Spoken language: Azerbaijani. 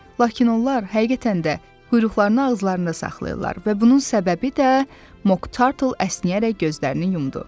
Lakin onlar həqiqətən də quyruqlarını ağızlarında saxlayırlar və bunun səbəbi də Moktartl əsnəyərək gözlərini yumdu.